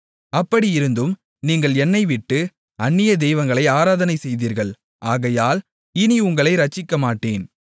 அப்படியிருந்தும் நீங்கள் என்னைவிட்டு அந்நிய தெய்வங்களை ஆராதனை செய்தீர்கள் ஆகையால் இனி உங்களை இரட்சிக்கமாட்டேன்